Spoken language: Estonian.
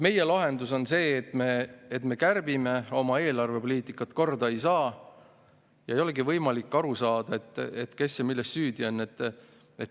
Meie lahendus on see, et me kärbime, oma eelarvepoliitikat korda ei saa ning ei olegi võimalik aru saada, kes ja milles süüdi on.